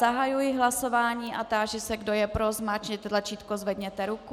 Zahajuji hlasování a táži se, kdo je pro, zmáčkněte tlačítko, zvedněte ruku.